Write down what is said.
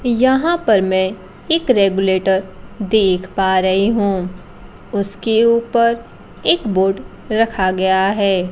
यहां पर मैं एक रेगुलेटर देख पा रही हूं उसके ऊपर एक बोर्ड रखा गया है।